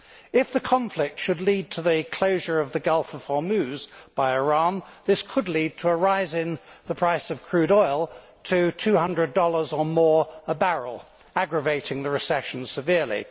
If the conflict should lead to the closure of the Gulf of Hormuz by Iran, this could lead to a rise in the price of crude oil to USD 200 or more a barrel, aggravating the recession severely.